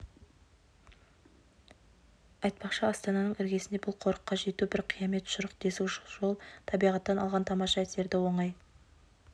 айтпақшы астананың іргесінде бұл қорыққа жету бір қиямет шұрық тесік жол табиғаттан алған тамаша әсерді оңай